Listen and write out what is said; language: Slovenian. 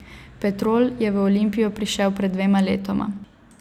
Petrol je v Olimpijo prišel pred dvema letoma.